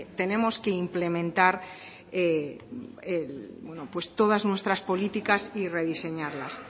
tenemos que implementar todas nuestras políticas y rediseñarlas